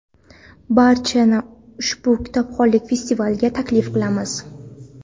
Barchani ushbu kitobxonlik festivaliga taklif qilamiz!.